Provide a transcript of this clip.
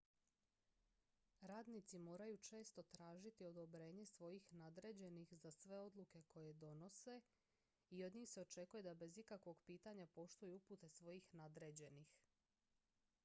radnici moraju često tražiti odobrenje svojih nadređenih za sve odluke koje donose i od njih se očekuje da bez ikakvog pitanja poštuju upute svojih nadređenih